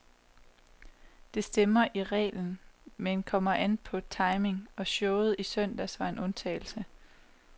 Det stemmer i reglen, men kommer an på timing, og showet i søndags var en undtagelse.